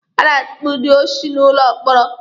A na-atukpu ndị oshi n'ụlọ mkpọrọ.